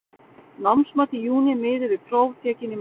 Námsmat í júní miði við próf tekin í maí.